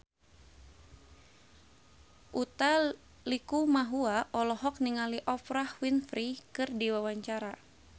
Utha Likumahua olohok ningali Oprah Winfrey keur diwawancara